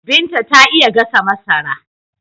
Binta ta iya gasa masara.